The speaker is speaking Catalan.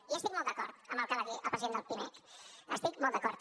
i estic molt d’acord amb el que va dir el president de pimec hi estic molt d’acord